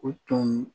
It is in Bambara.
O tun